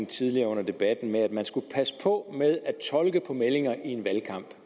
tidligere under debatten med at man skal passe på med at tolke meldinger i en valgkamp